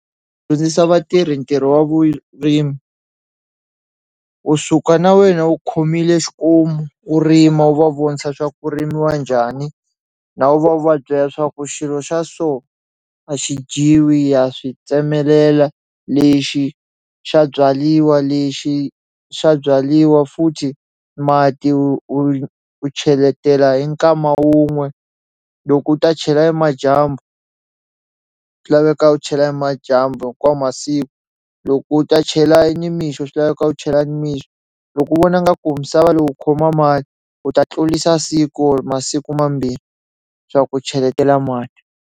Dyondzisa vatirhi ntirho wa vurimi u suka na wena u khomile xikomu u rima u va vonisa swa ku ku rimiwa njhani na vona u va byela swa ku xilo xa so a xi dyiwi ha swi tsemelela lexi xa byaliwa lexi swa byaliwa futhi mati u u cheletela hi nkama wun'we loko u ta chela nimadyambu swi laveka u chela nimadyambu hikwawo masiku loko u ta chela nimixo swi laveka u chela nimixo loko u vona nga ku misava lowu khoma mali u ta tlulisa siku or masiku mambirhi swa ku cheletela mati.